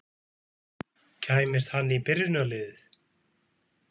Kæmist hann í byrjunarliðið?